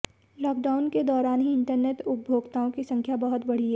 lockdown के दौरान ही इंटरनेट उपभोक्ताओं की संख्या बहुत बढ़ी है